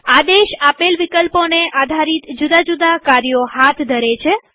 આદેશ આપેલ વિકલ્પોને આધારિત જુદા જુદા કાર્યો હાથ ધરે છે